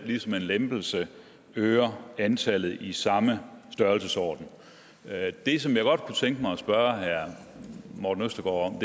ligesom en lempelse øger antallet i samme størrelsesorden det som jeg godt kunne tænke mig at spørge herre morten østergaard